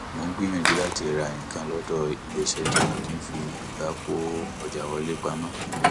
mo ń gbìyànjú láti ra nǹkan lọdọ iléeṣẹ tí wọn kì í fi ìgbà kó ọjà wọlé pamọ